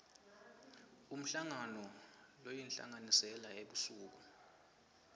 umhlangano loyinhlanganisela ebusuku